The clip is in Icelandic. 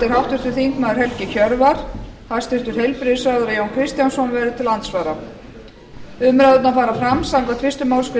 háttvirtur þingmaður helgi hjörvar hæstvirtur heilbrigðisráðherra jón kristjánsson verður til andsvara umræðurnar fara fram samkvæmt fyrstu málsgrein